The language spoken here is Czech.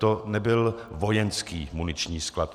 To nebyl vojenský muniční sklad.